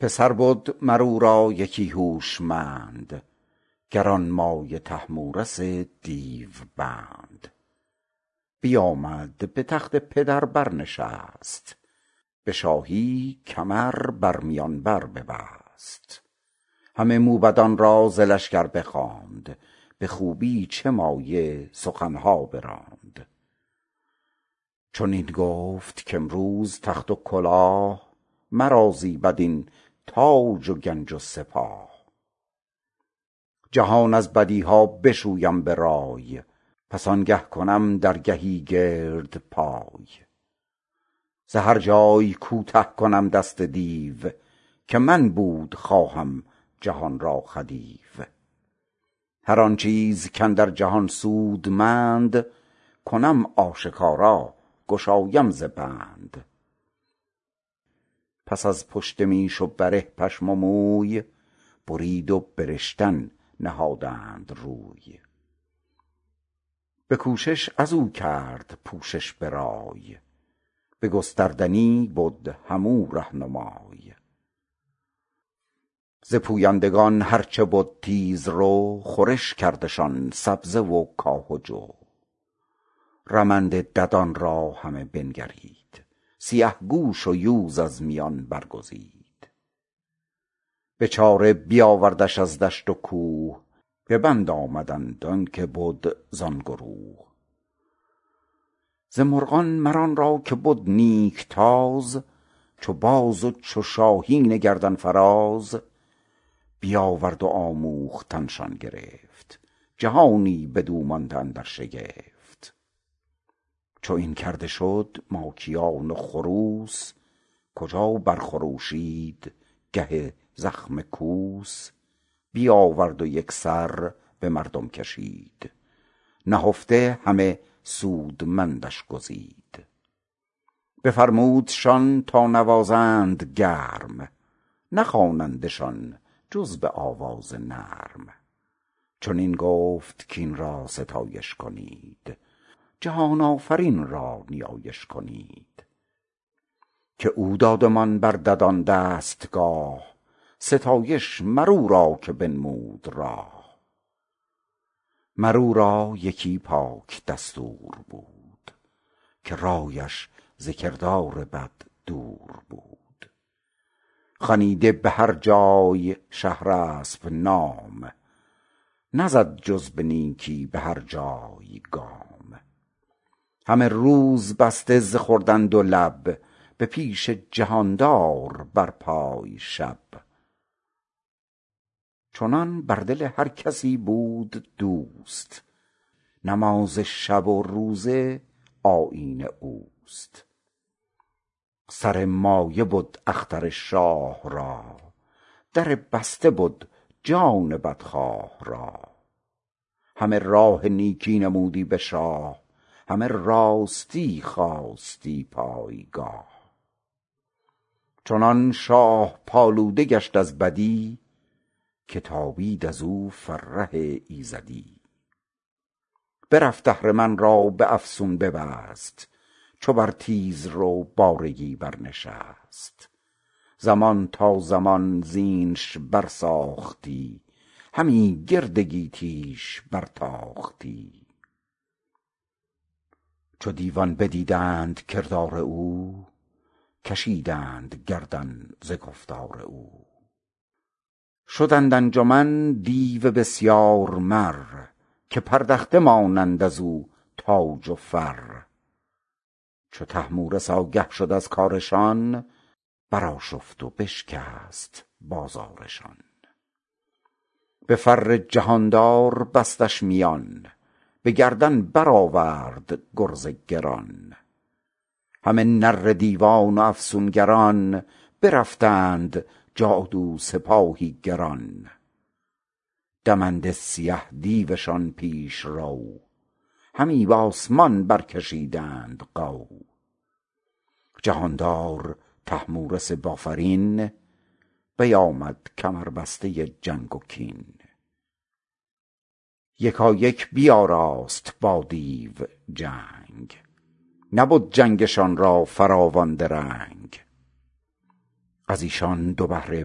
پسر بد مر او را یکی هوشمند گرانمایه طهمورث دیو بند بیامد به تخت پدر بر نشست به شاهی کمر بر میان بر ببست همه موبدان را ز لشکر بخواند به خوبی چه مایه سخن ها براند چنین گفت کامروز تخت و کلاه مرا زیبد این تاج و گنج و سپاه جهان از بدی ها بشویم به رای پس آنگه کنم درگهی گرد پای ز هر جای کوته کنم دست دیو که من بود خواهم جهان را خدیو هر آن چیز کاندر جهان سودمند کنم آشکارا گشایم ز بند پس از پشت میش و بره پشم و موی برید و به رشتن نهادند روی به کوشش از او کرد پوشش به رای به گستردنی بد هم او رهنمای ز پویندگان هر چه بد تیز رو خورش کردشان سبزه و کاه و جو رمنده ددان را همه بنگرید سیه گوش و یوز از میان برگزید به چاره بیاوردش از دشت و کوه به بند آمدند آن که بد زان گروه ز مرغان مر آن را که بد نیک تاز چو باز و چو شاهین گردن فراز بیاورد و آموختن شان گرفت جهانی بدو مانده اندر شگفت چو این کرده شد ماکیان و خروس کجا بر خروشد گه زخم کوس بیاورد و یک سر به مردم کشید نهفته همه سودمندش گزید بفرمودشان تا نوازند گرم نخوانندشان جز به آواز نرم چنین گفت کاین را ستایش کنید جهان آفرین را نیایش کنید که او دادمان بر ددان دستگاه ستایش مر او را که بنمود راه مر او را یکی پاک دستور بود که رایش ز کردار بد دور بود خنیده به هر جای شهرسپ نام نزد جز به نیکی به هر جای گام همه روز بسته ز خوردن دو لب به پیش جهاندار بر پای شب چنان بر دل هر کسی بود دوست نماز شب و روزه آیین اوست سر مایه بد اختر شاه را در بسته بد جان بدخواه را همه راه نیکی نمودی به شاه همه راستی خواستی پایگاه چنان شاه پالوده گشت از بدی که تابید ازو فره ایزدی برفت اهرمن را به افسون ببست چو بر تیز رو بارگی بر نشست زمان تا زمان زینش بر ساختی همی گرد گیتی ش بر تاختی چو دیوان بدیدند کردار او کشیدند گردن ز گفتار او شدند انجمن دیو بسیار مر که پردخته مانند از او تاج و فر چو طهمورث آگه شد از کارشان بر آشفت و بشکست بازارشان به فر جهاندار بستش میان به گردن بر آورد گرز گران همه نره دیوان و افسونگران برفتند جادو سپاهی گران دمنده سیه دیوشان پیش رو همی بآسمان برکشیدند غو جهاندار طهمورث بافرین بیامد کمربسته جنگ و کین یکایک بیاراست با دیو جنگ نبد جنگشان را فراوان درنگ از ایشان دو بهره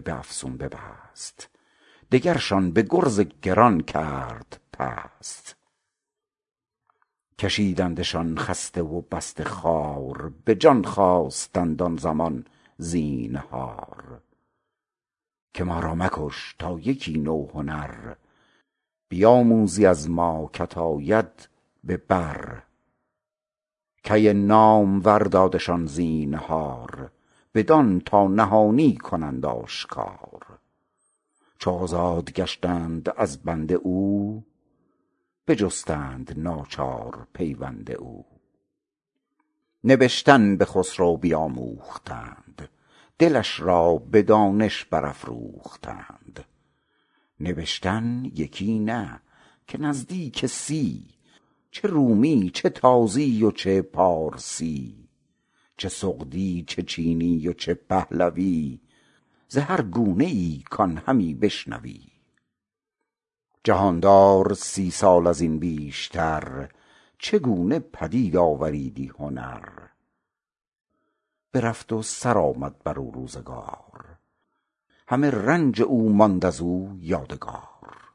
به افسون ببست دگرشان به گرز گران کرد پست کشیدندشان خسته و بسته خوار به جان خواستند آن زمان زینهار که ما را مکش تا یکی نو هنر بیاموزی از ما که ت آید به بر کی نامور دادشان زینهار بدان تا نهانی کنند آشکار چو آزاد گشتند از بند او بجستند ناچار پیوند او نبشتن به خسرو بیاموختند دلش را به دانش برافروختند نبشتن یکی نه که نزدیک سی چه رومی چه تازی و چه پارسی چه سغدی چه چینی و چه پهلوی ز هر گونه ای کان همی بشنوی جهاندار سی سال از این بیشتر چه گونه پدید آوریدی هنر برفت و سر آمد بر او روزگار همه رنج او ماند از او یادگار